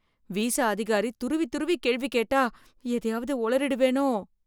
Visa அதிகாரி துருவி துருவி கேள்வி கேட்டா எதையாவது ஒளறிடுவேனோ!